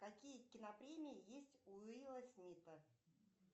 какие кинопремии есть у уилла смита